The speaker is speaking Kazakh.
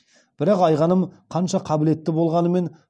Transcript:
бірақ айғаным қанша қабілетті болғанымен